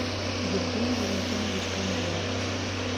евгений валентинович камбоев